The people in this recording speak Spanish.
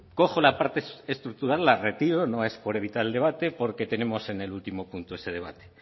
cojo la parte estructural la retiro no es por evitar el debate porque tenemos en el último punto ese debate